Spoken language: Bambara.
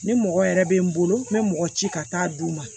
Ni mɔgɔ yɛrɛ bɛ n bolo n bɛ mɔgɔ ci ka taa d'u ma